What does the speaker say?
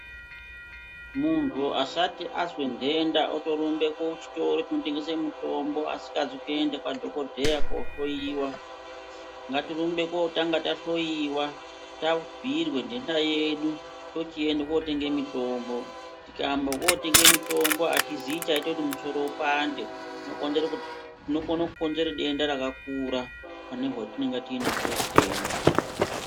Muntu asati azwe ndenda otorumbe kuchitoro chinotengese mitombo asingazwi kuende kwadhokodheya kohloiwa , ngatirumbe kotanga tahloiwa tabhoirwe ndenda yedu tochiende kotenga mitombo tikaamba okotenge mitombo atizii chaiye kuti musoro upande zvinokonzere kuti , tinokona kukonzera denda rakakura pane hwatinenge tinahwo hutenda.